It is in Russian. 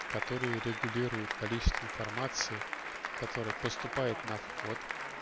который регулирует количество информации которая поступает на вход